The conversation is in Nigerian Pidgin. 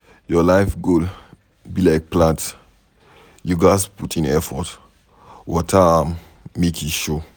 Your life goal be like plant, you ghas put in effort water am make e show